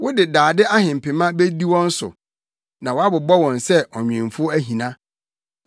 Wode dade ahempema bedi wɔn so; na woabobɔ wɔn sɛ ɔnwemfo ahina.”